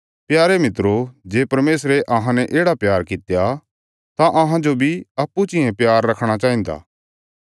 प्यारे मित्रो जे परमेशरे अहांने येढ़ा प्यार कित्या तां अहांजो बी अप्पूँ चियें प्यार रखणा चाहिन्दा